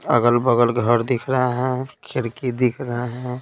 अगल-बगल घर दिख रहा है खिड़की दिख रहा है।